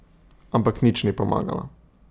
Ampak nič ni pomagalo.